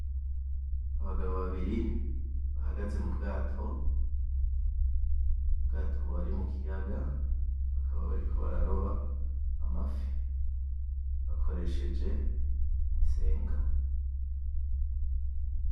Abagabo babiri bahagaze m'Ubwato. Ubwato buri mu Kiyaga bakaba bariko bararoba Amafi bakoresheje insenga.